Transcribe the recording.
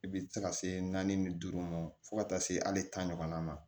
I bi se ka se naani ni duuru ma fo ka taa se hali taa ɲɔgɔn na